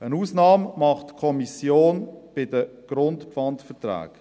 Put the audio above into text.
Eine Ausnahme macht die Kommission bei den Grundpfandverträgen: